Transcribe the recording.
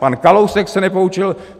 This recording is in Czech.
Pan Kalousek se nepoučil.